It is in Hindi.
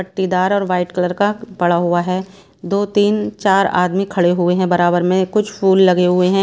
पट्टीदार और वाइट कलर का पड़ा हुआ है दो तीन चार आदमी खड़े हुए हैं बराबर में कुछ फूल लगे हुए हैं।